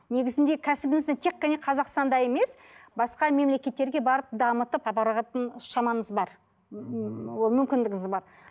негізінде кәсібіңізді тек қана қазақстанда емес басқа мемлекеттерге барып дамытып апаратын шамаңыз бар ммм ол мүмкіндігіңіз бар